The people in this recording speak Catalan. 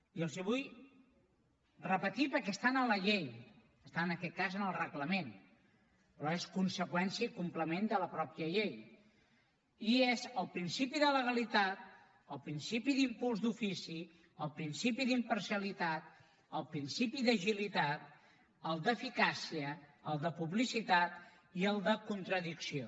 i els els vull repetir perquè estan en la llei estan en aquest cas en el reglament però són conseqüència i complement de la mateixa llei i són el principi de legalitat el principi d’impuls d’ofici el principi d’imparcialitat el principi d’agilitat el d’eficàcia el de publicitat i el de contradicció